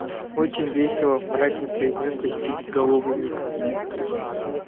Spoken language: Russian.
очень весело мрачно произнёс почти безголовый ник